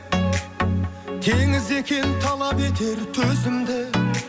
теңіз екен талап етер төзімді